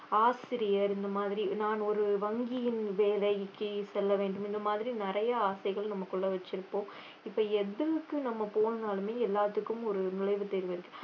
ஆசிரியர் இந்த மாதிரி நான் ஒரு வங்கியின் வேலைக்கு செல்ல வேண்டும் இந்த மாதிரி நிறைய ஆசைகள் நமக்குள்ள வச்சிருப்போம் இப்ப எதுக்கு நம்ம போனாலுமே எல்லாத்துக்கும் ஒரு நுழைவுத் தேர்வு இருக்கு